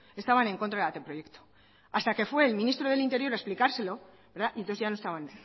estaban en contra del anteproyecto hasta que fue el ministro del interior a explicárselo y entonces ya no estaban